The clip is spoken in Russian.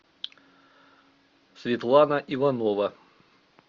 светлана иванова